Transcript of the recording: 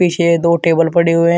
पीछे दो टेबल पड़े हुए हैं।